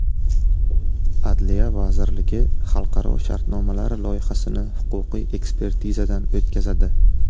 Adliya vazirligi xalqaro shartnomalar loyihasini huquqiy ekspertizadan o‘tkazadi.